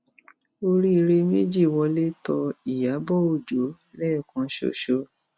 oríire méjì wọlé tó ìyàbọ ọjọ lẹẹkan ṣoṣo